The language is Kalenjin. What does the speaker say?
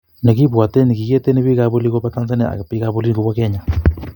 nekibwaten kikieten bik ab oli koba tanzania ak bik ab olin kobwa kenya